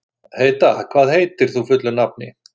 Heida, hvað heitir þú fullu nafni?